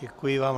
Děkuji vám.